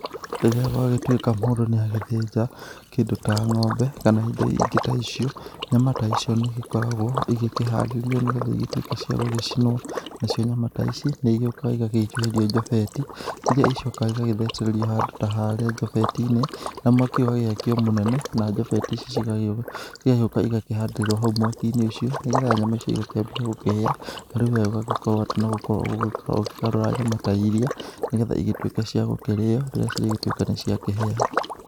Rĩrĩa gwagĩtuĩka mũndũ nĩ agĩthinja kĩndũ ta ngombe kana indo iria ingĩ ta icio, nyama ta icio nĩ igĩkoragwo igĩkiarĩrĩrio nĩgetha ituĩke cia gũgĩcinwo. Nacio nyama ta ici nĩ igiũkaga igagĩicũhirio njobeti iria igicokaga igathecererio handũ ta harĩa njobeti-inĩ, mwaki ũgagĩakio mũnene na njebeti ici ciigagĩrĩrwo, igacoka igakĩhandĩrĩrwo hau mwaki-inĩ ũcio nigetha nyama cigakĩambia kũhĩa . rĩu we ũgagĩkorwo atĩ no gũkorwo ũgũkorwo ũkĩgarũra nyama ta iria nĩgetha igĩtuike cia gũkĩrĩo rĩrĩa ciagĩtuĩka niciagĩkĩhia.